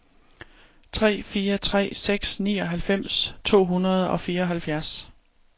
tre fire tre seks nioghalvfems to hundrede og fireoghalvfjerds